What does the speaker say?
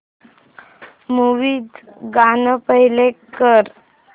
movie चं गाणं play कर